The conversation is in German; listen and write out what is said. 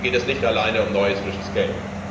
Da geht es nicht alleine um neues, frisches Geld.